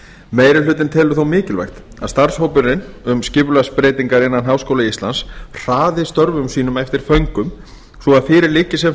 meiri hlutinn telur þó mikilvægt að starfshópurinn um skipulagsbreytingar innan háskóla íslands hraði störfum sínum eftir föngum svo að fyrir liggi sem